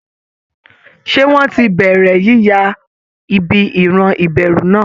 Ṣé wọ́n ti bẹ̀rẹ̀ yíya ibi ìran ìbẹ̀rù náà?